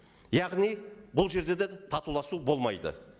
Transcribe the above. яғни бұл жерде де татуласу болмайды